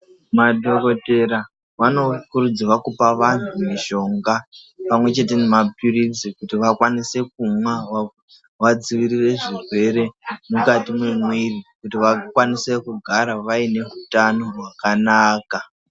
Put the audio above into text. Madhokodheya vanokurudzirwa kupe vanhu mishonga pamwechete nemapilizi kuti vakwanise kumwa vadzivirire zvirwere mukati mwemwiri kuti vakwanise kugara vaine utano hwakanaka.